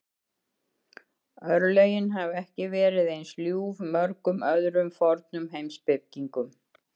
Örlögin hafa ekki verið eins ljúf mörgum öðrum fornum heimspekingum.